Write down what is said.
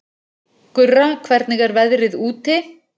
Gurra, hvernig er veðrið úti?